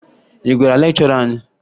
Ị gwara lekchọra anyị?